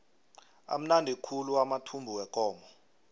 amnandi khulu amathumbu wekomo